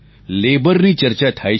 labour ની ચર્ચા થાય છે